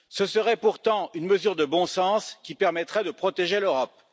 Ce serait pourtant une mesure de bon sens qui permettrait de protéger l'Europe.